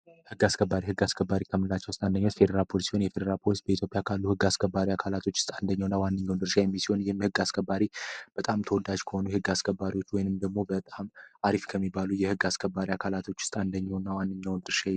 ህግ አስከባሪ ህግ አስከባሪ ከምንላቸው ውስጥ አንደኛው የፌዴራል ፖሊስ የሆኑ የፌዴራል ፖሊስ በአገራችን ውስጥ ከሚሰራም ተወዳጅ ከሆኑ የህግ አስከባሪ ወይም ደግሞ አሪፍ ከሚባሉ የህግ አስከባሪ አካላቶች አንደ ዋነኛ ድርሻ የሚወጣው ነው።